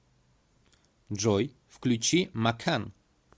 джой включи макан